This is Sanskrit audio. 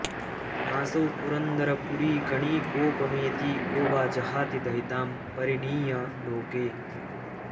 नासौ पुरन्दरपुरीगणिकोपमेति को वा जहाति दयितां परिणीय लोके